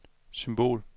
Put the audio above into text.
symbol